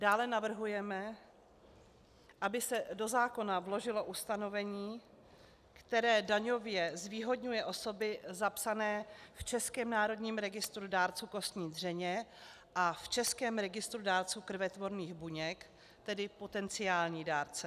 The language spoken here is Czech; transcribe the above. Dále navrhujeme, aby se do zákona vložilo ustanovení, které daňově zvýhodňuje osoby zapsané v Českém národním registru dárců kostní dřeně a v Českém registru dárců krvetvorných buněk, tedy potenciální dárce.